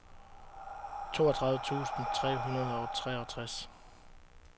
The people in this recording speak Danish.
toogtyve tusind tre hundrede og treogtres